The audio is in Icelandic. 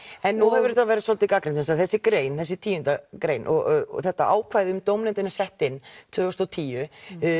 en nú hefur þetta verið svolítið gagnrýnt vegna þess að þessi grein þessi tíu grein og þetta ákvæði um dómnefndina sett inn tvö þúsund og tíu